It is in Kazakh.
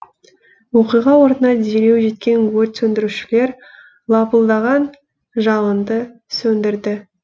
оқиға орнына дереу жеткен өрт сөндірушілер лапылдаған жалынды сөндірді